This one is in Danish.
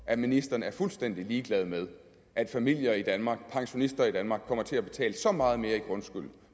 at ministeren er fuldstændig ligeglad med at familier i danmark at pensionister i danmark kommer til at betale så meget mere i grundskyld